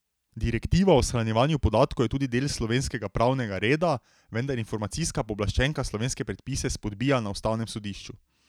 Direktiva o shranjevanju podatkov je tudi del slovenskega pravnega reda, vendar informacijska pooblaščenka slovenske predpise spodbija na ustavnem sodišču.